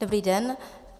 Dobrý den.